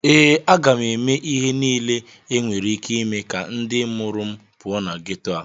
ee, a ga m eme ihe niile enwere ike ime ka ndị mụrụ m pụọ na geto a